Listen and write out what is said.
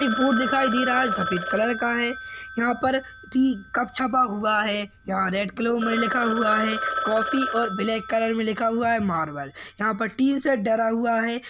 एक बोर्ड दिखाई दे रहा है। सफेद कलर का है। यहा पर टी कप छपा हुआ है। यहा रेड कलरों मे लिखा हुआ है। कॉफी और ब्लॅक कलर मे लिखा हुआ है। मारवेल यहाँ पर टी सेट डरा हुआ है।